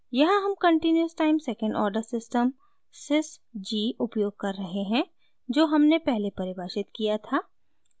यहाँ हम continuous time second order system sysg उपयोग कर रहे हैं जो हमने पहले परिभाषित किया था